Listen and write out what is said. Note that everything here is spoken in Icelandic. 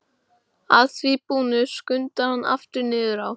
Að því búnu skundar hann aftur niður á